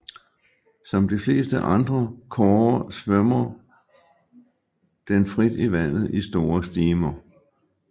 Som de fleste andre kårer svømmer den frit i vandet i store stimer